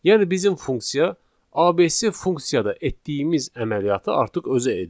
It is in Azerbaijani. Yəni bizim funksiya ABC funksiyada etdiyimiz əməliyyatı artıq özü edir.